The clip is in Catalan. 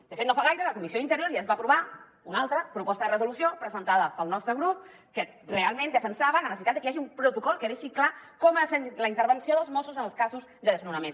de fet no fa gaire a la comissió d’interior ja es va aprovar una altra proposta de resolució presentada pel nostre grup que realment defensava la necessitat de que hi hagi un protocol que deixi clar com ha de ser la intervenció dels mossos en els casos de desnonaments